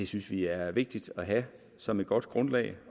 synes vi er vigtigt at have som et godt grundlag